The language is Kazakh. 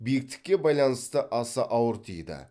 биіктікке байланысты аса ауыр тиді